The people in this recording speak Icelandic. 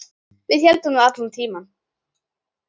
Við héldum það allan tímann.